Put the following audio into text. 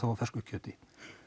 á fersku kjöti